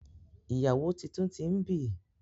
Ìyàwó títún t'in bí